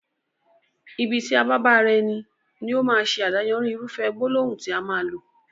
Ibi tí a bá bá ara ẹni, ní ó máa ṣe adáyanri irúfẹ́ gbólóhùn tí a máa lò